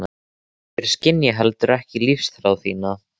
Þeir skynja ekki heldur lífsþrá þína.